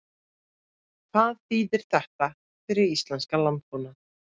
Hvað þýðir þetta fyrir íslenskan landbúnað?